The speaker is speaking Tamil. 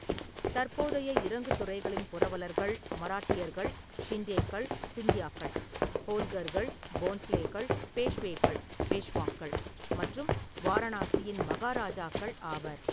தற்போதைய இறங்கு துறைகளின் புரவலர்கள் மராட்டியர்கள், ஷிண்டேக்கள் (சிந்தியாக்கள்), ஹோல்கர்கள், போன்ஸ்லேக்கள், பேஷ்வேக்கள் (பேஷ்வாக்கள்) மற்றும் வாரணாசியின் மகாராஜாக்கள் ஆவர்.